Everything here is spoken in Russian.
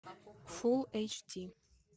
фулл эйч ди